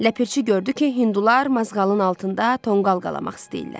Ləpirçi gördü ki, hindular mazğalın altında tonqal qalamaq istəyirlər.